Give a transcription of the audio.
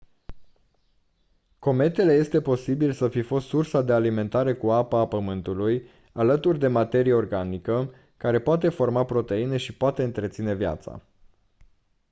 cometele este posibil să fi fost sursa de alimentare cu apă a pământulului alături de materie organică care poate forma proteine și poate întreține viața